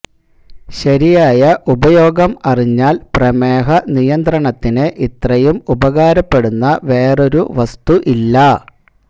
ശരിയായ ഉപയോഗം അറിഞ്ഞാൽ പ്രമേഹനിയന്ത്രണത്തിന് ഇത്രയും ഉപകാരപ്പെടുന്ന വേറൊരു വസ്തു ഇല്ല